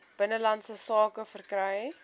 binnelandse sake verkry